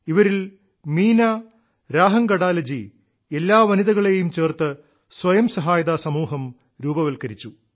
ഇവരിൽ മീന രാഹംഗഡാലെജി എല്ലാ വനിതകളെയും ചേർത്ത് സ്വയം സഹായതാ സമൂഹം രൂപവത്കരിച്ചു